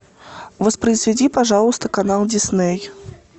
воспроизведи пожалуйста канал дисней